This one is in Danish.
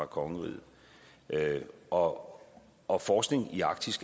kongeriget og og forskning i arktis